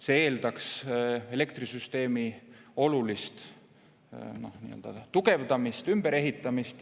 See eeldaks elektrisüsteemi olulist tugevdamist, ümberehitamist.